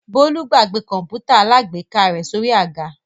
Bólú gbàgbé kọ̀ǹpútà alágbèéká rẹ̀ sórí àga?